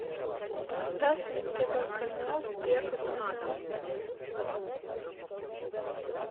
поставь на тв канал первый канал